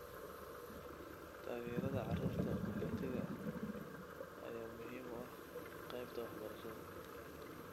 Taageerada carruurta qaxootiga ah ayaa muhiim u ah qaybta waxbarashada.